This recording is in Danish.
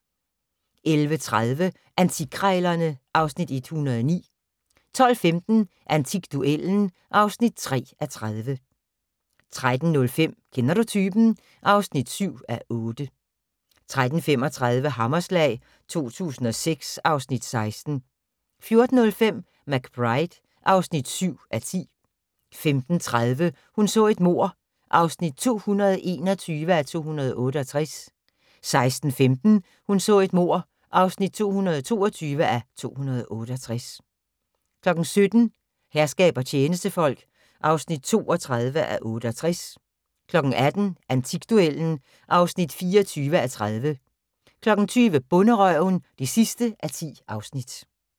11:30: Antikkrejlerne (Afs. 109) 12:15: Antikduellen (3:30) 13:05: Kender du typen? (7:8) 13:35: Hammerslag 2006 (Afs. 16) 14:05: McBride (7:10) 15:30: Hun så et mord (221:268) 16:15: Hun så et mord (222:268) 17:00: Herskab og tjenestefolk (32:68) 18:00: Antikduellen (24:30) 20:00: Bonderøven (10:10)